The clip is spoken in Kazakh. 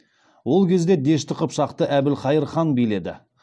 ол кезде дешті қыпшақты әбілқайыр хан биледі